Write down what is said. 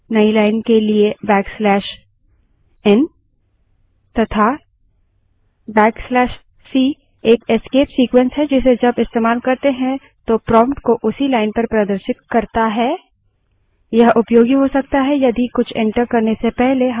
सामान्य escape sequences में tab के लिए \t नई line के लिए \t तथा \t एक escape sequences है जिसे जब इस्तेमाल करते हैं तो prompt को उसी line पर प्रदर्शित करता है